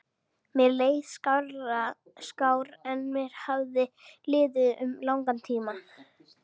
Mér leið skár en mér hafði liðið um langan tíma.